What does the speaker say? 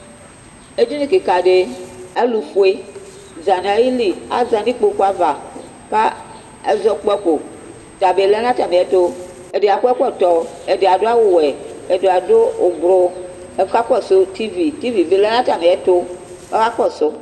Edini kɩka dɩ, alʋfue za nʋ ayili Aza nʋ ikpoku ava ka ɛzɔkpako, ɔta bɩ lɛ nʋ atamɩɛtʋ Ɛdɩ akɔ ɛkɔtɔ, ɛdɩ adʋ awʋwɛ, ɛdɩ adʋ ʋblʋ, ɔkakɔsʋ tivi Tivi bɩ lɛ nʋ atamɩɛtʋ kʋ akakɔsʋ